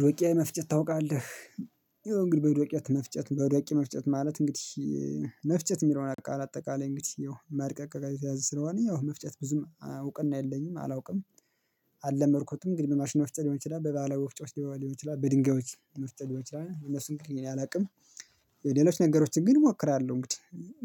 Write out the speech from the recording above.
ዶቄት መፍጨት ታውቃለህ? ይሄን ግን በዶቄት መፍጨት በዶቄት መፍጨት ማለት እንግዲህ መፍጨት የሚለውን አጠቃላይ እንግዲህ መድቀቅ ጋር የተያያዘ ስለሆነ ያው መፍጨት ብዙም እውቀን አይደለኝም አላውቅም። አልለመድኩትም እንግዲህ በማሽን መፍጨት ሊሆን ይችላል በባለወፍጮ ባህላዊ ወፍጮች ሊሆን ይችላል በድንጋዮች የሚያስጠግቁ ይችላል እነሱን ግን የለም አላውቅም። የሌሎች ነገሮችን ግን እሞክራለሁ እንግዲህ